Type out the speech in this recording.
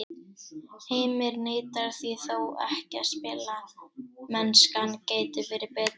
Heimir neitar því þó ekki að spilamennskan gæti verið betri.